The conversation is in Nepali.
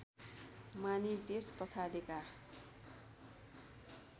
मानी त्यस पछाडिका